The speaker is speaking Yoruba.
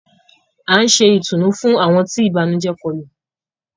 À n ṣè ìtùnú fún awọn tí ibànujẹ̀ kòlu.